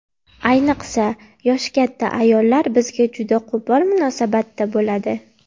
Ayniqsa, yoshi katta ayollar bizga juda qo‘pol munosabatda bo‘ladi.